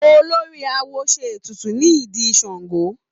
Olórí awo ṣe ètùtù ní ìdí Ṣàngó.